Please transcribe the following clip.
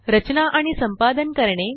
रचना आणि संपादन करणे